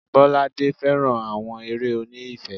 Bolade féràn àwọn eré oní ìfẹ́.